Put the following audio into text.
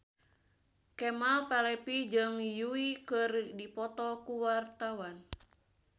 Kemal Palevi jeung Yui keur dipoto ku wartawan